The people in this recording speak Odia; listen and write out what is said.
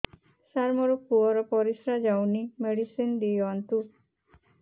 ସାର ମୋର ପୁଅର ପରିସ୍ରା ଯାଉନି ମେଡିସିନ ଦିଅନ୍ତୁ